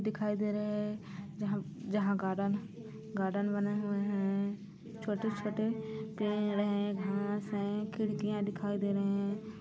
--दिखाई दे रहे है जहाँ जहाँ गार्डन गार्डन बना हुआ है छोटे-छोटे पेड़ हैं घास हैं खिड़किया दिखाई दे रहे हैं।